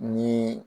Ni